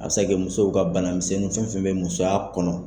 A bi se ka kɛ musow ka banamisɛnninw fɛn fɛn bɛ musoya kɔnɔ.